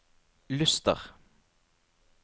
Luster